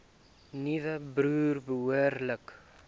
nuwe boere behoorlik